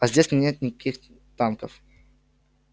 а здесь нет никаких танков